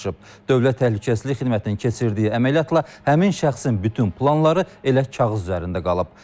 Dövlət Təhlükəsizlik Xidmətinin keçirdiyi əməliyyatla həmin şəxsin bütün planları elə kağız üzərində qalıb.